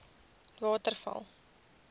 waterval